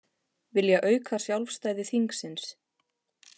Vilja auka sjálfstæði þingsins